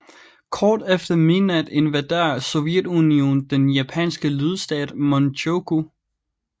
Kort efter midnat invaderede Sovjetunionen den japanske lydstat Manchukuo